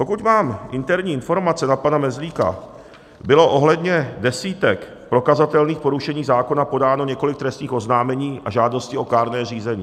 Pokud mám interní informace na pana Mezlíka, bylo ohledně desítek prokazatelných porušení zákona podáno několik trestních oznámení a žádostí o kárné řízení.